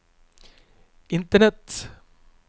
internett